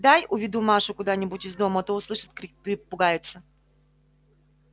дай уведу машу куда-нибудь из дому а то услышит крик перепугается